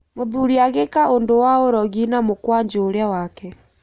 Mũthuri agĩĩka ũndũ wa ũrogi na mũkwanjũ ũrĩa wake.